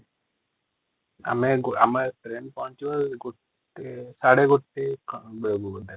ଆମ ଟ୍ରେନ ପହଚିବ ୧ ୧.୩୦ ବାଜିବ|